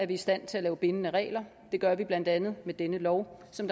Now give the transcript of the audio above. vi i stand til at lave bindende regler det gør vi blandt andet med denne lov som